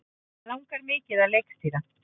Langar mikið að leikstýra